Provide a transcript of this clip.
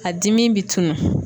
A dimi bi tunun.